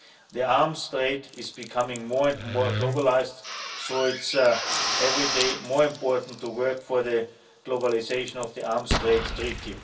The arms trade is becoming more and more globalised so it's every day more important to work for the globalisation of the Arms Trade Treaty.